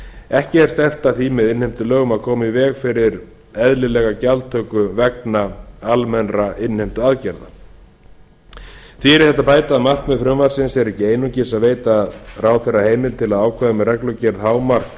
ekki er stefnt að því með innheimtulögum að koma í veg fyrir eðlilega gjaldtöku vegna almennra innheimtuaðgerða því er við þetta að bæta að markmið frumvarpsins er ekki einungis að veita ráðherra heimild til að ákveða með reglugerð hámark